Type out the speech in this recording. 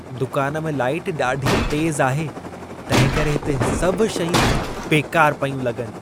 दुकान में लाइट ॾाढी तेज़ आहे, तंहिंकरे हिते सभु शयूं बेकार पयूं लॻनि।